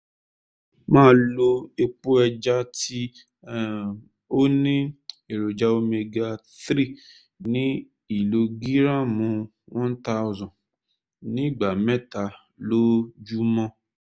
máa lo epo ẹja tí um ó ní èròjà omega- three ní ìlógíráàmù one thousand ní ìgbà mẹ́ta lójúmọ́